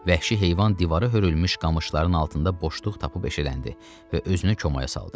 Vəhşi heyvan divara hörülmüş qamışların altında boşluq tapıb eşələndi və özünü komaya saldı.